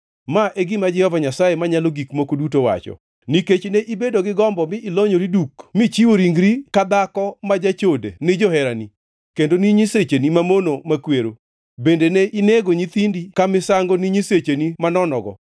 Ma e gima Jehova Nyasaye Manyalo Gik Moko Duto wacho: Nikech ne ibedo gi gombo mi ilonyori duk michiwo ringre ka dhako ma jachode ni joherani, kendo ni nyisecheni mamono makwero, bende ne inego nyithindi ka misango ni nyisechegi manonogo,